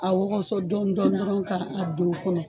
A wɔgɔsɔ dɔni dɔnin dɔrɔn ka a don o kɔnɔ